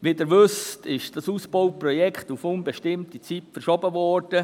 Wie Sie wissen, ist dieses Ausbauprojekt auf unbestimmte Zeit verschoben werden.